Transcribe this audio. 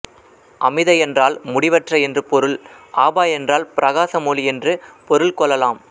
அமித என்றால் முடிவற்ற என்று பொருள் ஆபா என்றால் பிரகாசம்ஒளி என்று பொருள் கொள்ளலாம்